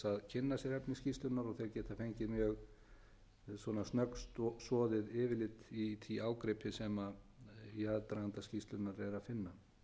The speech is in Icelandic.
sér efni skýrslunnar og þeir geta fengið mjög snöggsoðið yfirlit í því ágripi sem í aðdraganda skýrslunnar er að